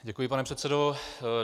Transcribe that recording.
Děkuji, pane předsedo.